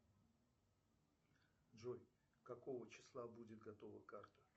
джой какого числа будет готова карта